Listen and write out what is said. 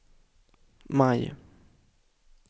maj